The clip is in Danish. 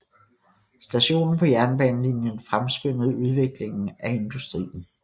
Stationen på jernbanelinjen fremskyndede udviklingen af industrien